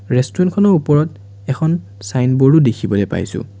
Restaurant খনৰ ওপৰত এখন ছাইনব'ৰ্ড ও দেখিবলৈ পাইছোঁ।